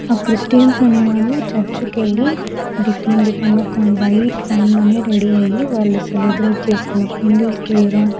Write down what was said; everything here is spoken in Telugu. ఆ క్రిస్టియన్స్ అనేవాళ్ళు చర్చు కెళ్ళి డిఫరెంట్ డిఫరెంట్ గా ఒక వైట్ ఫామ్ లోనే రెడీ అయ్యి వాళ్ళు సెలబ్రేట్ చేసుకుంటుర్రు హిందూస్ కు వేరే --